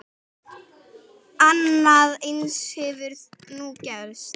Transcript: Annað eins hefur nú gerst.